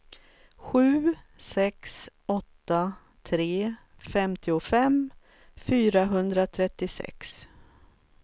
sju sex åtta tre femtiofem fyrahundratrettiosex